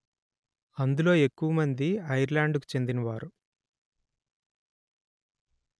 అందులో ఎక్కువమంది ఐర్లండుకు చెందినవారు